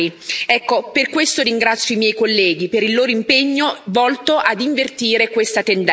Ecco, per questo ringrazio i miei colleghi, per il loro impegno volto ad invertire questa tendenza.